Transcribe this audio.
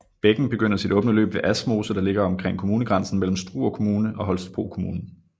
Bækken begynder sit åbne løb ved Asmose der ligger omkring kommunegrænsen mellem Struer Kommune og Holstebro Kommune